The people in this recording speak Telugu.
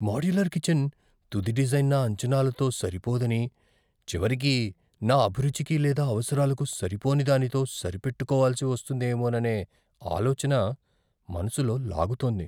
మాడ్యులర్ కిచెన్ తుది డిజైన్ నా అంచనాలతో సరిపోదని, చివరికి నా అభిరుచికి లేదా అవసరాలకు సరిపోనిదానితో సరిపెట్టుకోవాల్సి వస్తుందేమోననే ఆలోచన మనసులో లాగుతోంది.